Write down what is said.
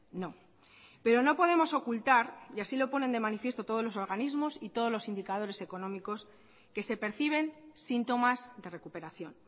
no pero no podemos ocultar y así lo ponen de manifiesto todos los organismos y todos los indicadores económicos que se perciben síntomas de recuperación